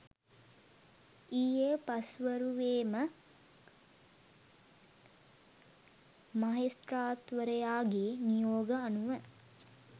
ඊයේ පස්වරුවේම මහෙස්ත්‍රාත්වරයාගේ නියෝග අනුව